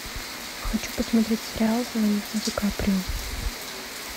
хочу посмотреть сериал звоните ди каприо